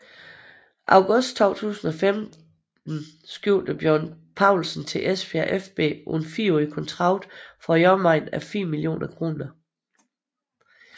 August 2015 skiftede Bjørn Paulsen til Esbjerg fB på en 4 årig kontrakt for i omegnen af 4 millioner kroner